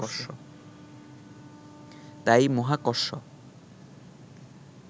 তাই মহাকর্ষ